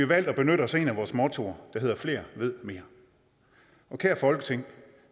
valgt at benytte os af et af vores mottoer der hedder flere ved mere og kære folketing